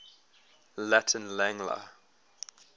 latin lang la